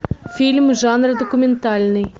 фильм жанра документальный